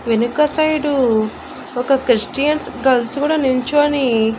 వెనక సైడ్ ఒక Christian girls కూడా నిల్చోని.